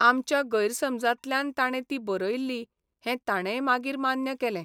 आमच्या गैरसमजांतल्यान ताणे ती बरयिल्ली हें ताणेय मागीर मान्य केलें.